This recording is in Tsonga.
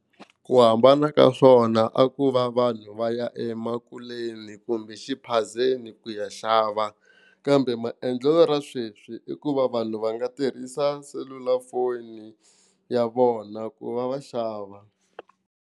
Ku hambana ka swona a ko va vanhu va ya emakuleni kumbe exiphazeni ku ya xava kambe maendlelo ra sweswi i ku va vanhu va nga tirhisa selulafoni ya vona ku va va xava.